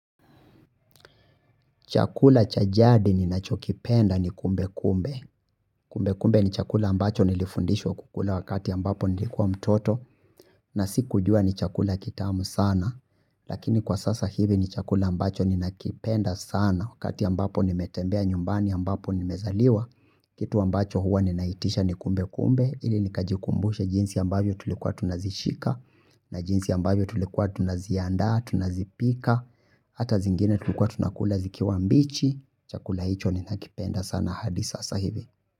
Chakula cha jadi ninachokipenda ni kumbe kumbe. Kumbe kumbe ni chakula ambacho nilifundishwa kukula wakati ambapo nilikuwa mtoto. Na sikujua ni chakula kitamu sana. Lakini kwa sasa hivi ni chakula ambacho ninakipenda sana wakati ambapo nimetembea nyumbani ambapo nimezaliwa. Kitu ambacho huwa ninaitisha ni kumbe kumbe. Ili nikajikumbushe jinsi ambavyo tulikuwa tunazishika. Na jinsi ambavyo tulikuwa tunazianda, tunazipika. Hata zingine tulikuwa tunakula zikiwa mbichi. Chakula hicho ninakipenda sana hadi sasa hivi.